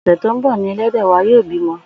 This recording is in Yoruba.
Ò̩sè̩ tó ń bò̩ ni e̩lé̩dè̩ wa yóò bímo̩